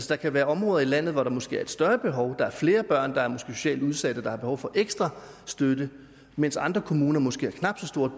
der kan være områder i landet hvor der måske er et større behov hvor der er flere børn der måske er socialt udsatte og har behov for ekstra støtte mens andre kommuner måske har knap så stort